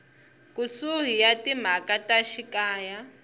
kusuhi ya timhaka ta xikaya